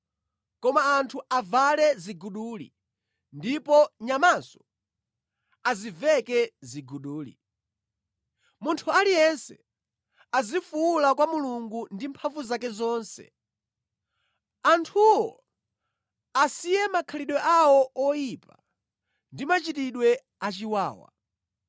Koma anthu avale ziguduli, ndipo nyamanso aziveke ziguduli. Munthu aliyense azifuwula kwa Mulungu ndi mphamvu zake zonse. Anthuwo asiye makhalidwe awo oyipa ndi machitidwe achiwawa.